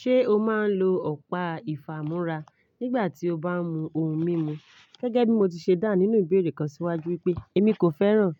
Ṣé o máa ń lo ọ̀pá ìfámúrá nígbà tí o bá ń mu ohun mímu? Gẹ́gẹ́ bí mo ti ṣe dáhùn nínú ìbéèrè kan síwájú wípé èmi kò fẹ́ràn